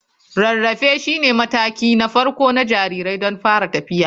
Rarrafe shine mataki na farko na jariri don fara tafiya.